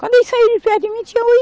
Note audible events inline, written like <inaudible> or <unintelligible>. Quando ele saiu de perto de mim, tinha <unintelligible>